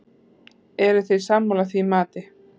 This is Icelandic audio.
Eruð þið sammála því mati?